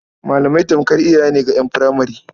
Malamai tamkar iyaye ne ga ƴan furemare.